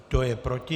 Kdo je proti?